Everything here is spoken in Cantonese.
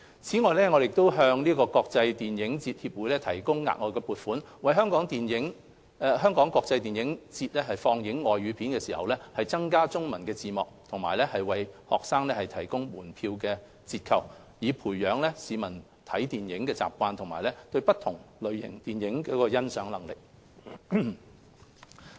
此外，我們向國際電影節協會提供額外撥款，為"香港國際電影節"放映的外語電影增加中文字幕和為學生提供門票折扣，培養市民看電影的習慣及對不同類型電影的欣賞能力。